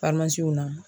na